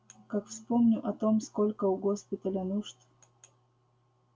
как вспомню о том сколько у госпиталя нужд